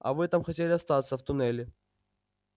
а вы там хотели остаться в туннеле